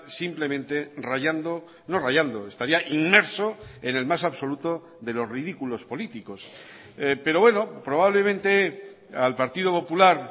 simplemente rallando no rallando estaría inmerso en el más absoluto de los ridículos políticos pero bueno probablemente al partido popular